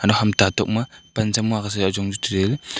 ham tatok ma pan za mua ka sa chu ajong tai ley.